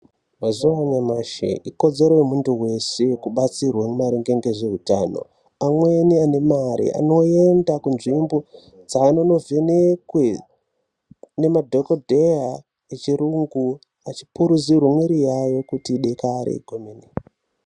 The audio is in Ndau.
mazuva anyamashi ikodzero yemuntu veshe kubatsirwa maringe ngezveutano. Amweni ane mari anoenda kunzvimbo dzanonovhenekwe nemadhogodheya echiyungu, achipuruzirwa mwiri yayo kuti idare kwemene.